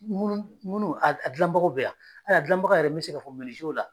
Ŋunu, ŋunu agilan bagaw bɛ yan. Hali a gilan baga yɛrɛ n be se ka fɔ la